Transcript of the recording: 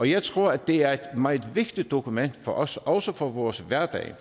jeg tror at det er et meget vigtigt dokument for os også for vores hverdag